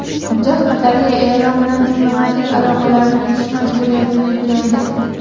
Hujjat Qatarga Eron bilan diplomatik aloqalarni uzish majburiyatini yuklaydi.